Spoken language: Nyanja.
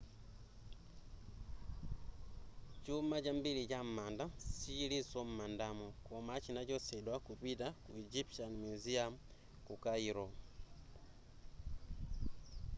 chuma chambiri cha m'manda sichilinso m'mandamo koma chinachotsedwa kupita ku egyptian museum ku cairo